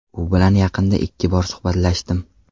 U bilan yaqinda ikki bor suhbatlashdim.